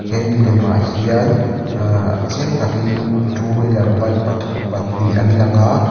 he milem ah hian ah chiang takin two wheeler bike pathu pahnih an lang.